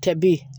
Kɛ bi